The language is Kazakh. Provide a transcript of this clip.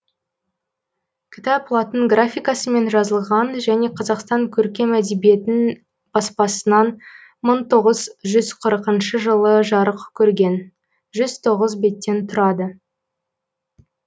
кітап латын графикасымен жазылған және қазақстан көркем әдебиет баспасынан мың тоғыз жүз қырықыншы жылы жарық көрген жүз тоғыз беттен тұрады